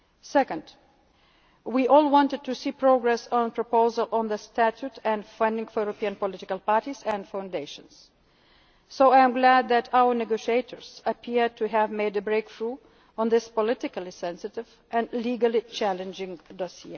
step forward. Secondly, we all wanted to see progress on a proposal on the statute and funding for European political parties and foundations, so I am glad that our negotiators appear to have made a breakthrough on this politically sensitive and legally challenging